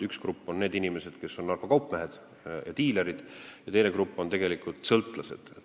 Üks grupp on narkokaupmehed, diilerid, teine grupp on sõltlased.